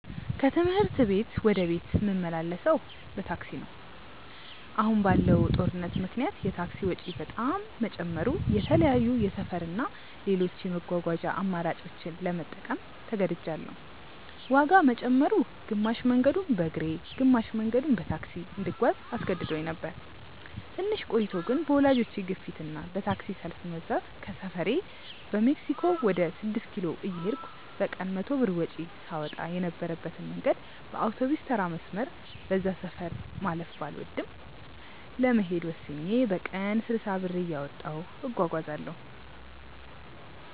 ከትምህርት ቤት ወደ ቤት ምመላለሰው በታክሲ ነው። አሁን ባለው ጦርነት ምክንያት የታክሲ ወጪ በጣም መጨመሩ የተለያዩ የሰፈር እና ሌሎች የመጓጓዣ አማራጮችን ለመጠቀም ተገድጅያለው። ዋጋ መጨመሩ፣ ግማሽ መንገዱን በእግሬ ግማሽ መንገዱን በታክሲ እንድጓዝ አስገድዶኝ ነበር። ትንሽ ቆይቶ ግን በወላጆቼ ግፊት እና በታክሲ ሰልፍ መብዛት ከሰፈሬ በሜክሲኮ ወደ ስድስት ኪሎ እየሄድኩ በቀን 100 ብር ወጪ ሳወጣ የነበረበትን መንገድ በአውቶቢስተራ መስመር (በዛ ሰፈር ማለፍ ባልወድም) ለመሄድ ወስኜ በቀን 60 ብር እያወጣሁ እጓጓዛለው።